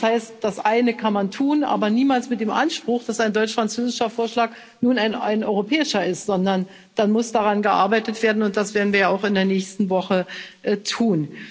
Das heißt, das eine kann man tun, aber niemals mit dem Anspruch, dass ein deutsch französischer Vorschlag nun ein europäischer ist, sondern dann muss daran gearbeitet werden, und das werden wir auch in der nächsten Woche tun.